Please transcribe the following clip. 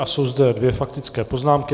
A jsou zde dvě faktické poznámky.